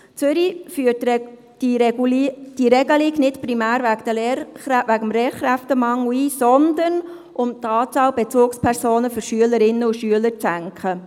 Zürich führt diese Regelung nicht primär wegen des Lehrkräftemangels ein, sondern um die Anzahl Bezugspersonen für Schülerinnen und Schüler zu senken.